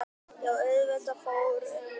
Já auðvitað fór um mann.